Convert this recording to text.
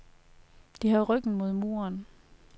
De har ryggen mod muren.